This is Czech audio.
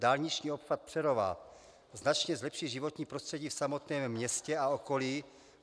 Dálniční obchvat Přerova značně zlepší životní prostředí v samotném městě a okolí.